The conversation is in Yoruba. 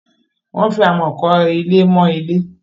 wón fí amo kò ilé mọ Ilé